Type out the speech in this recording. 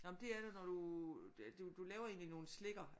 Nå men det er når du du laver egentlig nogen slikker